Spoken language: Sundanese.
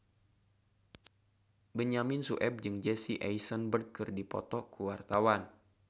Benyamin Sueb jeung Jesse Eisenberg keur dipoto ku wartawan